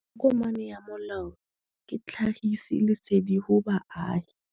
Tokomane ya molao ke tlhagisi lesedi go baagi.